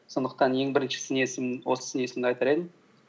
сондықтан ең бірінші сын есім осы сын есімді айтар едім